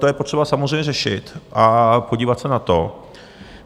To je potřeba samozřejmě řešit a podívat se na to.